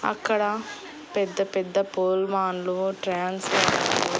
అక్కడ పెద్ద పెద్ద పోల్ మాన్లు ట్రాన్స్ఫర్లు .